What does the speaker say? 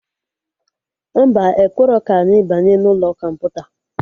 Mba, ekwerọ ka anyị banye n'ụlọ kọmputa